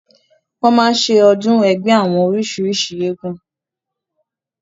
wọ́n máa ń ṣe ọdún ẹgbẹ́ àwọn oríṣìrísìí eégún